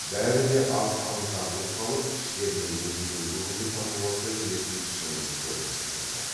бәрі де аз аңтарылып қалып іштерінен бөжейдің бүгінгі татуласа келетін пішінін көргісі келді